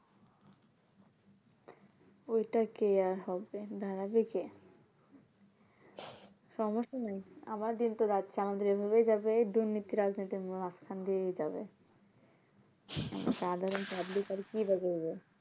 ওইটা কে আর হবে দাঁড়াবে কে সমস্যা নাই আবার দিনতো রাইত আমাদের এইভাবেই যাবে এই দুর্নীতি রাজনীতির মাঝখান দিয়েই যাবে সাধারণ public আর কিবা করবে